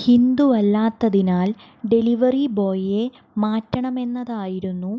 ഹിന്ദുവല്ലാത്തതിനാൽ delivery ബോയിയെ മാറ്റണമെന്നതായിരുന്നു